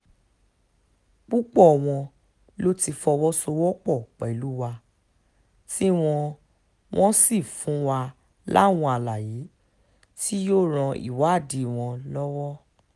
púpọ̀ wọn ló ti fọwọ́sowọ́pọ̀ pẹ̀lú wa tí wọ́n wọ́n sì fún wa láwọn àlàyé tí yóò ran ìwádìí wa lọ́wọ́